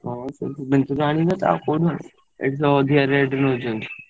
ହାଁ ସେଇ ଭୁବନେଶ୍ବର ରୁ ଆଣିବା ଆଉ ଏଠି ତ ଅଧିକ rate ନଉଛନ୍ତି।